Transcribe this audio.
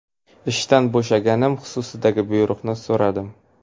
Ishdan bo‘shaganim xususidagi buyruqni so‘radim.